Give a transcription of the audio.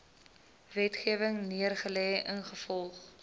wetgewing neergelê ingevolge